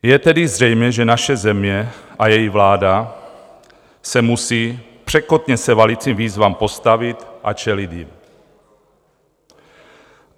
Je tedy zřejmé, že naše země a její vláda se musí překotně se valícím výzvám postavit a čelit jim.